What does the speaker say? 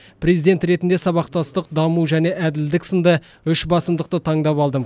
президент ретінде сабақтастық даму және әділдік сынды үш басымдықты таңдап алдым